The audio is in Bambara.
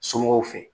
Somɔgɔw fɛ